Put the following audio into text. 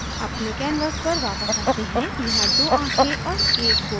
अपने canvas पर वापस आते हैं यहाँ 2 आँखें और एक bow bow है